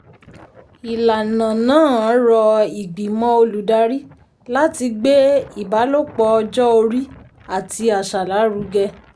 ìlànà náà rọ ìgbìmọ̀ olùdarí láti gbé ìbálòpọ̀ ọjọ́ orí àti àṣà lárugẹ.